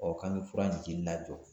k'an ke fura in jili lajɔ